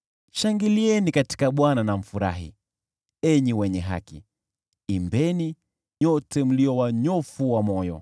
Shangilieni katika Bwana na mfurahi, enyi wenye haki! Imbeni, nyote mlio wanyofu wa moyo!